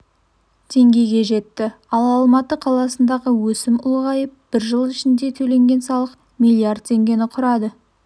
теңгеге жетті ал алматы қаласындағы өсім ұлғайып бір жыл ішінде төленген салық миллиард теңгені құрады